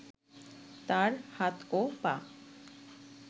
তার হাত ও পা